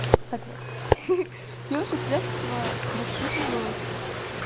так вот хи хи девушек с детства воспитывают